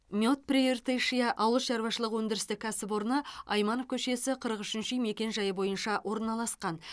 мед прииртышья ауыл шаруашылық өндірістік кәсіпорны айманов көшесі қырық үшінші мекен жайы бойынша орналасқан